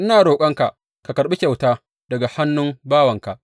Ina roƙonka ka karɓi kyauta daga hannun bawanka.